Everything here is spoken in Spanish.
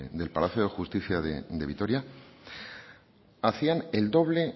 del palacio de justicia de vitoria hacían el doble